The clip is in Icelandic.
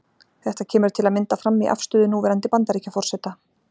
Þetta kemur til að mynda fram í afstöðu núverandi Bandaríkjaforseta.